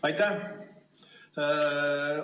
Aitäh!